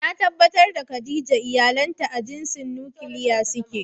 Na tabbatar da Khadijah iyalanta a jinsin "Nuclear" suke.